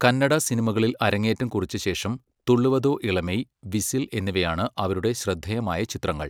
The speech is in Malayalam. കന്നഡ സിനിമകളിൽ അരങ്ങേറ്റം കുറിച്ച ശേഷം 'തുള്ളുവദോ ഇളമൈ', 'വിസിൽ' എന്നിവയാണ് അവരുടെ ശ്രദ്ധേയമായ ചിത്രങ്ങൾ.